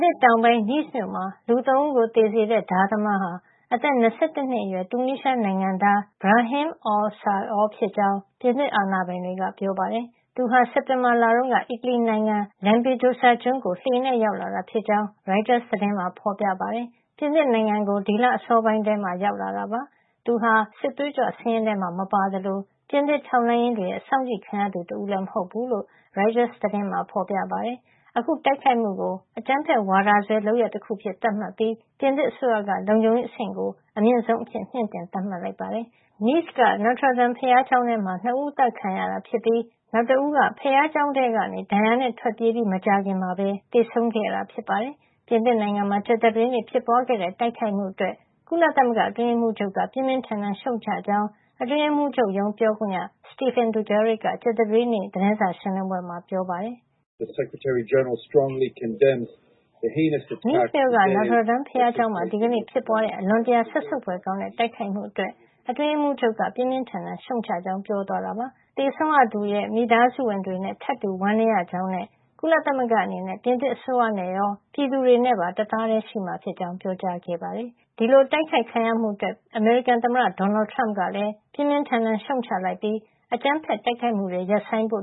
ငံတောင်ပိုင်း Nice မြို့မှာ လူ ၃ ဦးကို သေစေတဲ့ ဓါးသမားဟာ အသက် ၂၁ နှစ် အရွယ် တူနီးရှား နိုင်ငံသား Brahim Aouissaoui ဖြစ်ကြောင်း ပြင်သစ်အာဏာပိုင်တွေက ပြောပါတယ်။ သူဟာ စက်တင်ဘာလတုန်းက အီတလီနိုင်ငံ Lampedusa ကျွန်းကို လှေနဲ့ ရောက်လာတာ ဖြစ်ကြောင်း ရိုက်တာ သတင်းမှာ ဖေါ်ပြပါတယ်။ သူဟာ ပြင်သစ်နိုင်ငံကို ဒီလ အစောပိုင်းမှာ ရောက်လာတာ ဖြစ်ပါတယ်။ Aouissaoui ဟာ တူနီးရှားအစိုးရရဲ့ စစ်သွေးကြွစာရင်းထဲမှာ မပါသလို ပြင်သစ်ထောက်လှမ်းရေး တွေရဲ့ စောင့်ကြည့်ခံရသူတဦးလည်း မဟုတ်ဖူးလို့ ရိုက်တာကပြောပါတယ်။ အခု တိုက်ခိုက်မှုကို အကြမ်းဖက်ဝါဒစွဲလုပ်ရပ် တခု အဖြစ် သတ်မှတ်ထားပြီး ပြင်သစ်အစိုးရက လုံခြုံရေး အဆင့်ကို အမြင့်ဆုံး အဖြစ် မြှင့်တင် သတ်မှတ် ထားပါတယ်။ Nice က Notre Dame ဘုရားကျောင်းထဲမှာ ၂ ဦး အသတ်ခံခဲ့ရတာဖြစ်ပြီး နောက်တဦးက ဘုရားကျောင်းထဲကနေ ဒဏ်ရာနဲ့ ထွက်ပြေးပြီး မကြာခင် သေဆုံးခဲ့တာဖြစ်ပါတယ်။ ပြင်သစ်နိုင်ငံမှာ ကြာသပတေးနေ့ ဖြစ်ပွားခဲ့တဲ့ တိုက်ခိုက်မှုအတွက် ကုလသမဂ္ဂအတွင်းရေးမှုးချုပ်က ပြင်းပြင်းထန်ထန် ရှုံ့ချကြောင်း အတွင်းရေးမှုးချုပ်ရုံး ပြောခွင့်ရ Stéphane Dujarric က ကြာသပတေးနေ့ ကုလသမဂ္ဂရုံးချုပ် သတင်းစာ ရှင်းလင်းပွဲမှာ ပြောပါတယ်။ “Nice မြို့က Notre Dame ဘုရားကျောင်းမှာ ဒီကနေ့ ဖြစ်ပွားခဲ့တဲ့ အလွန်စက်ဆုပ်ဖွယ်ကောင်းတဲ့ တိုက်ခိုက်မှုအတွက် အတွင်းရေးမှူးချုပ်က ပြင်းပြင်းထန်ထန် ရှုံ့ချကြောင်း ကြောင်း ပြောသွားတာပါ။ ဒါ့အပြင် သေဆုံးခဲ့ရသူတွေရဲ့ မိသားစုဝင်တွေနဲ့ ထပ်တူဝမ်းနည်းရပါကြောင်းနဲ့ ကုလသမဂ္ဂ အနေနဲ့ ပြင်သစ်အစိုးရနဲ့ရော ပြည်သူတွေနဲ့ပါ တသားထည်း ရှိပါကြောင်း ပြောကြားခဲ့ပါတယ်။” ဒီအတိုက်ခိုက်ခံရမှု အတွက် အမေရိကန်သမ္မတ ဒေါ်နယ်ထရမ့်ကလည်း ပြင်းပြင်းထန်ထန် ရှုံ့ချလိုက်ပြီး အကြမ်းဖက်တိုက်ခိုက်မှုတွေ ရပ်ဆိုင်းဖို့